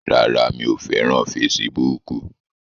Rárá, mi ò fẹ́ràn fesibúùkù